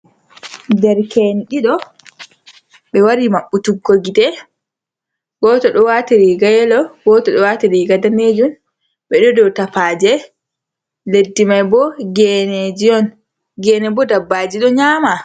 Der ke'en ɗiɗo ɓe wari maɓɓu tuggo gite, goto ɗo wati riga yelo, goto ɗo wati riga danejun, ɓe ɗo dow tafaje, leddi mai bo genejiy on. Gene bo dabbaji ɗo nyama.